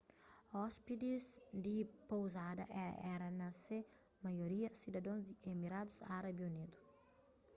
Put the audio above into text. óspides di pouzada éra na se maioria sidadons di emiradus árabi unidu